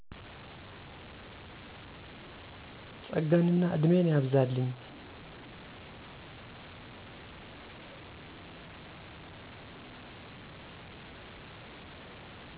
ፀጋንእና እድሜን ያብዛልኝ